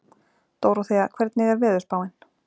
Dóróþea, hvernig er veðurspáin?